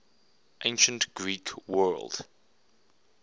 ancient greek world